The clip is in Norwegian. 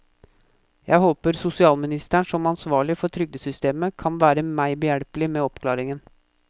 Jeg håper sosialministeren som ansvarlig for trygdesystemet kan være meg behjelpelig med oppklaringen.